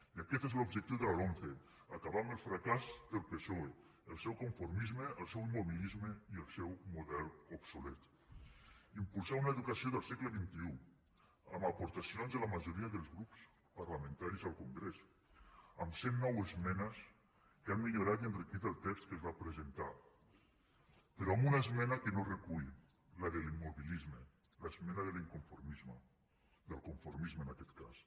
i aquest és l’objectiu de la lomce acabar amb el fracàs del psoe el seu conformisme el seu immobilisme i el seu model obsolet impulsar una educació del segle xxiaportacions de la majoria dels grups parlamentaris al congrés amb cent nou esmenes que han millorat i enriquit el text que es va presentar però amb una esmena que no recull la de l’immobilisme l’esmena de l’inconformisme del conformisme en aquest cas